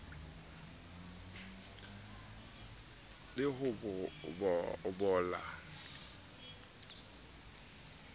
le ho bola ha maitshwaro